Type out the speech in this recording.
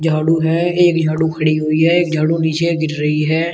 झाड़ू है एक झाड़ू खड़ी हुई है एक झाड़ू नीचे गिर रही है।